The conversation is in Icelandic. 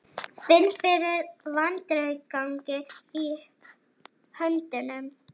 Finn fyrir vandræðagangi í höndunum.